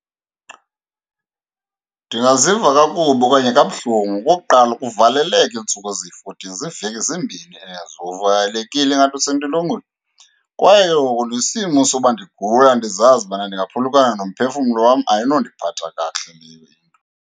Ndingaziva kakubi okanye kabuhlungu. Okokuqala, ukuvaleleka iintsuku eziyi-fourteen ziiveki ezimbini ezo uvalekile ingathi usentolongweni, kwaye ke ngoku nesimo soba ndigula ndizazi ubana ndingaphulukana nomphefumlo wam, ayinondiphatha kakuhle leyo into.